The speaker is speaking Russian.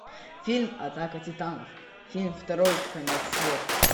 фильм атака титанов фильм второй конец света